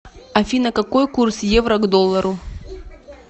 афина какой курс евро к доллару